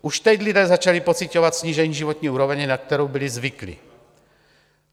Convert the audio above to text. Už teď lidé začali pociťovat snížení životní úrovně, na kterou byli zvyklí.